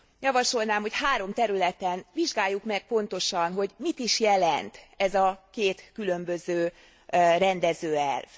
Javasolnám, hogy három területen vizsgáljuk meg pontosan, hogy mit is jelent ez a két különböző rendező elv.